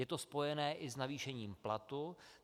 Je to spojené i s navýšením platu.